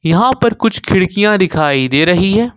यहां पर कुछ खिड़कियां दिखाई दे रही है।